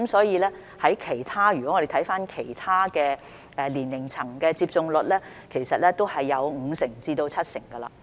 如果我們看看其他年齡層的接種率，其實都有五成至七成。